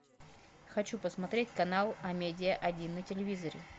хочу посмотреть канал амедиа один на телевизоре